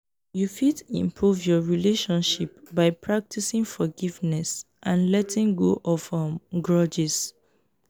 you fit improve your relationship by practicing forgiveness and letting go of um grudges.